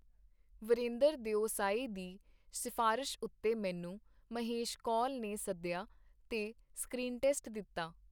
ਵੀਰੇਂਦਰ ਦਿਓਸਾਈ ਦੀ ਸਿਫਾਰਸ਼ ਉੱਤੇ ਮੈਨੂੰ ਮਹੇਸ਼ ਕੌਲ ਨੇ ਸੱਦਿਆ ਤੇ ਸਕਰੀਨ-ਟੈਸਟ ਦਿੱਤਾ.